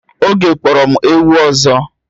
Oge kporo m ewu ọzọ